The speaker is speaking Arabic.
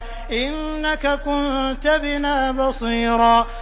إِنَّكَ كُنتَ بِنَا بَصِيرًا